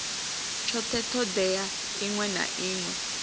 tshothe thodea iṅwe na iṅwe